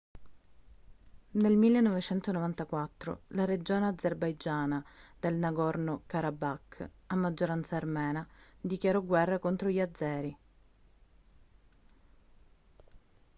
nel 1994 la regione azerbaigiana del nagorno karabakh a maggioranza armena dichiarò guerra contro gli azeri